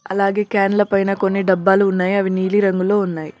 అలాగే క్యాన్ల పైన కొన్ని డబ్బాలు ఉన్నాయి అవి నీలి రంగు లో ఉన్నాయ్.